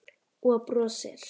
Og brosir.